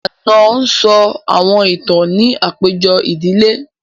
Ànọ́ sọ àwọn ìtàn ní àpéjọ ìdílé